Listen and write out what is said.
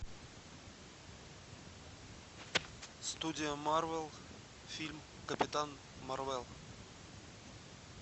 студия марвел фильм капитан марвел